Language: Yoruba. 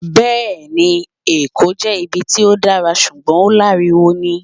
Bẹẹni, Eko jẹ ibi ti o dara ṣugbọn o laríwo ni.